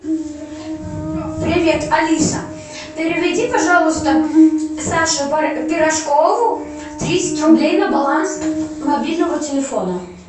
привет алиса переведи пожалуйста саше пирожкову тридцать рублей на баланс мобильного телефона